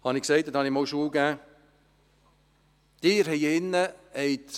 Wie gesagt unterrichtete ich einmal dort.